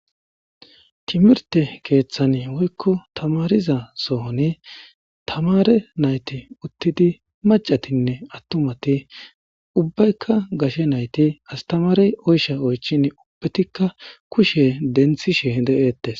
Timirte keeththani woykko tamariza sohoni tamare nayti uttidi macatinne attumati ubbaykka gashe nayti astamarey oysha oychin ubbetikka kushe denthishe de'eetes.